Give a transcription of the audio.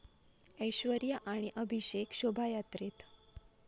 ऐश्वर्या आणि अभिषेक शोभायात्रेत